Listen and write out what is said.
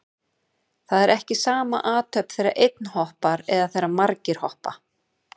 Það er ekki sama athöfn þegar einn hoppar eða þegar margir hoppa.